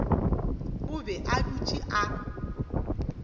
o be a dutše a